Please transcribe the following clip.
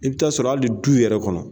I bi taa sɔrɔ hali du yɛrɛ kɔnɔ